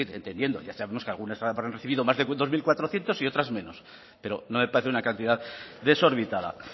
entendiendo ya sabemos que algunas farmacias han recibido más de dos mil cuatrocientos y otras menos pero no me parece una cantidad desorbitada